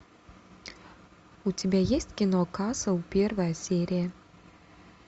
у тебя есть кино касл первая серия